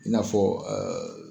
I n'afɔ